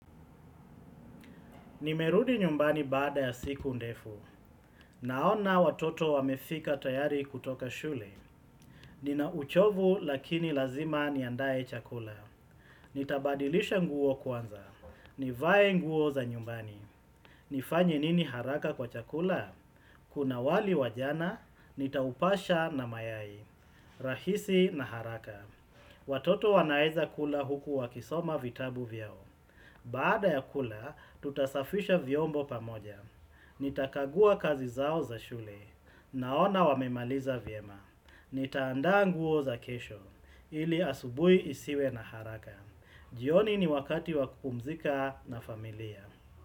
Nimerudi nyumbani baada ya siku ndefu. Naona watoto wamefika tayari kutoka shule. Nina uchovu lakini lazima niandaye chakula. Nitabadilisha nguo kwanza. Nivaye nguo za nyumbani. Nifanye nini haraka kwa chakula? Kuna wali wajana, nitaupasha na mayai. Rahisi na haraka. Watoto wanaeza kula huku wakisoma vitabu vyao. Baada ya kula, tutasafisha vyombo pamoja. Nitakagua kazi zao za shule, naona wamemaliza vyema. Nitaanda nguo za kesho, ili asubui isiwe na haraka. Jioni ni wakati wapumzika na familia.